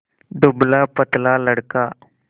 दुबलापतला लड़का